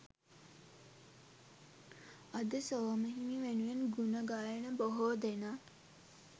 අද සෝම හිමි වෙනුවෙන් ගුණ ගයන බොහෝදෙනා